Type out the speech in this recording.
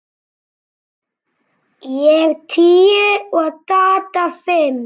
Ég tíu og Dadda fimm.